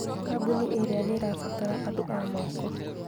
Kambuni ĩrĩa nĩĩrabatara andũ a moko